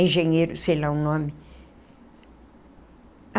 Engenheiro, sei lá o nome.